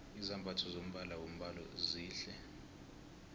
izambatho zombala wombhalo zihle